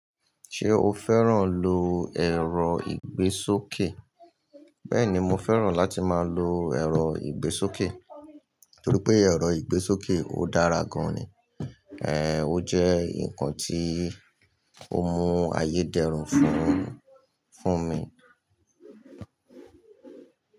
Ṣé o fẹ́ràn lo ẹ̀rọ ìgbésókè? Bẹ́ẹ̀ni, mo fẹ́ràn láti máa lo ẹ̀rọ ìgbésókè torí pé ẹ̀rọ ìgbésókè ó dára gan ni. Ehn, ó jẹ́ nǹkan tí ó mú ayé dẹrún fún, fún mi.